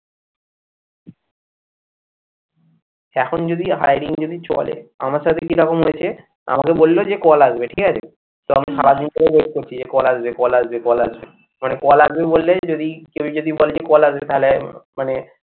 এখন যদি hiring যদি চলে আমার সাথে কিরকম হয়েছে? আমাকে বললো যে call আসবে ঠিক আছে? তো আমি সারাদিন ধরে wait করছি যে call আসবে, কল আসবে, কল আসবে মানে call আসবে বললেই যদি কেউ যদি call যে call আসবে তাহলে মানে